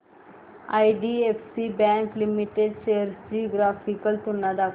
IDFC bank limited shares ची graphical तुलना दाखव